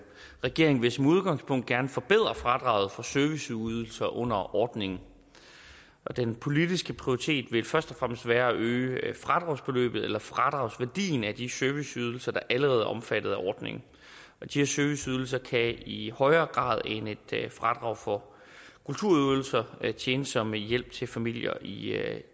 regeringen vil som udgangspunkt gerne forbedre fradraget for serviceydelser under ordningen den politiske prioritet vil først og fremmest være at øge fradragsbeløbet eller fradragsværdien af de serviceydelser der allerede er omfattet af ordningen de serviceydelser kan i højere grad end et fradrag for kulturydelser tjene som hjælp til familier i